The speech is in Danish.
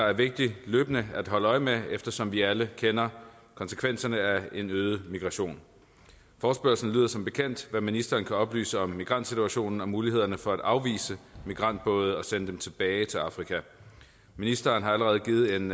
er vigtigt løbende at holde øje med eftersom vi alle kender konsekvenserne af en øget migration forespørgslen lyder som bekendt hvad kan ministeren oplyse om migrantsituationen og mulighederne for at afvise migrantbåde og sende dem tilbage til afrika ministeren har allerede givet en